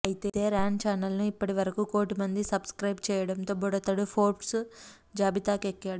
అయితే Ryan channel ను ఇప్పటి వరకూ కోటి మంది సబ్ స్క్రయిబ్ చేయడంతో బుడతడు ఫోర్బ్స్ జాబితాకెక్కాడు